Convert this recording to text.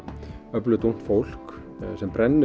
öflugt ungt fólk sem brennur